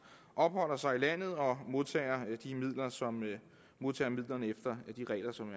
opholder sig i landet og modtager modtager midlerne efter de regler som